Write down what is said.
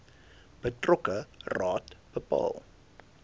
betrokke raad bepaal